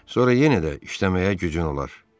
Sonra yenə də işləməyə gücün olar.